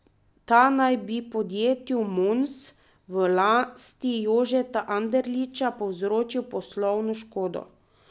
Ta naj bi podjetju Mons v lasti Jožeta Anderliča povzročil poslovno škodo.